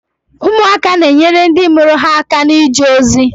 Ụmụaka na-enyere ndị mụrụ ha aka na-ije ozi.